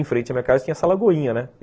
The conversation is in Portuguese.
Em frente à minha casa tinha essa lagoinha, né?